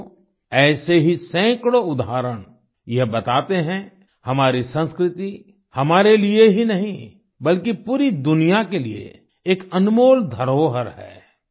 साथियो ऐसे ही सैकड़ों उदाहरण यह बताते हैं हमारी संस्कृति हमारे लिए ही नहीं बल्कि पूरी दुनिया के लिए एक अनमोल धरोहर है